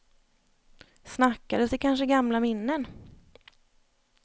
Snackades det kanske gamla minnen?